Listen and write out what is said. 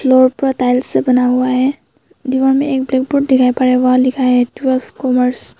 Board पर tiles से बना हुआ है दीवार में एक ब्लैकबोर्ड दिखाई पड़ रहा है वहां लिखा है कॉमर्स ।